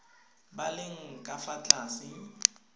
ba leng ka fa tlase